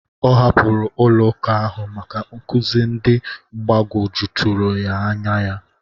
Ọ hapụrụ ụlọ ụka ahụ maka nkụzi ndị gbagwojuturu anya ya.